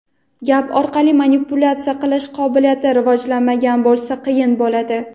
gap orqali manipulyatsiya qilish qobiliyati rivojlanmagan bo‘lsa qiyin bo‘ladi.